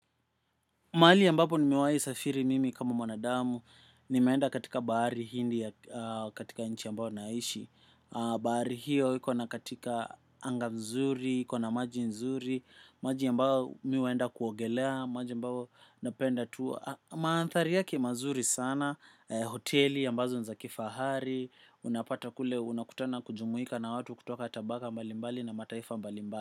Mahali ambapo nimewahi safiri mimi kama mwanadamu, nimeenda katika bahari hindi ya katika nchi ambayo naishi. Bahari hiyo iko na katika anga mzuri, iko na maji nzuri, maji ambao mi huenda kuogelea, maji ambao napenda tu. Mandhari yake mazuri sana, hoteli ambazo ni za kifahari, unapata kule, unakutana na kujumuika na watu kutoka tabaka mbalimbali na mataifa mbalimbali.